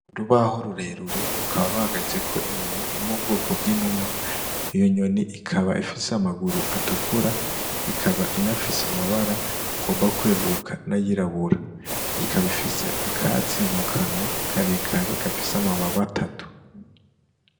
URubaho rurerure rukaba ruhagazeko inyoni iri m’ubwoko bw'inuma iyo inyoni ikaba ifise amaguru atukura ikaba inafise amabara agomba kweruruka n'ayirabura ikaba ifise akatsi mu kanwa karekare gafise amababa atatu.